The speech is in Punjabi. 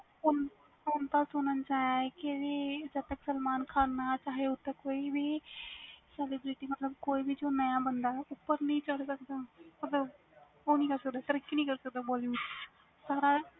ਹੁਣ ਤਾ ਸੁਣਨ ਚ ਆਇਆਂ ਵ ਜਦੋ ਤਕ ਸਲਮਾਨ ਖਾਨ ਨਾ ਚਾਵੇ ਓਦੋ ਤੱਕ ਕੋਈ ਵੀ celebrity ਨਾਵਾਂ ਬੰਦਾ ਉਪਰ ਨਹੀਂ ਚੜ੍ਹ ਸਕਦਾ ਮਤਬਲ ਤਰੱਕੀ ਨਹੀਂ ਕਰ ਸਕਦਾ